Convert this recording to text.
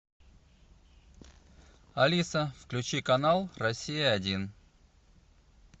алиса включи канал россия один